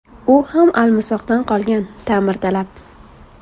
U ham almisoqdan qolgan, ta’mirtalab.